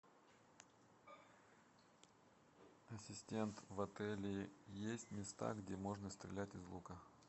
ассистент в отеле есть места где можно стрелять из лука